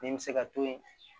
Min bɛ se ka to yen